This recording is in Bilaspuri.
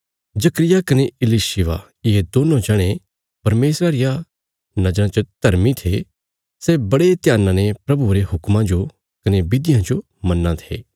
जकर्याह कने इलिशिबा ये दोन्नों जणे परमेशरा री नज़राँ च धर्मी थे सै बड़े ध्याना ने प्रभुये रे हुक्मा जो कने विधियां जो मन्नां थे